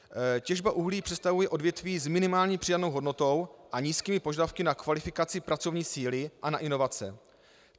Těžba uhlí představuje odvětví s minimální přidanou hodnotou a nízkými požadavky na kvalifikaci pracovní síly a na inovace.